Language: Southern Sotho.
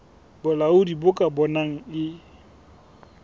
bolaodi bo ka bonang e